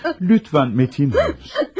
Lütfən metin olun.